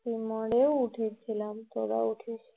Steamer এও উঠেছিলাম সবাই উঠেছিল